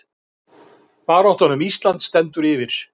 Baráttan um Ísland stendur yfir